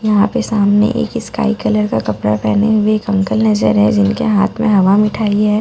यहां पे सामने एक स्काई कलर का कपड़ा पहने हुए अंकल नज़र है जिनके हाथ में हवा मिठाई है।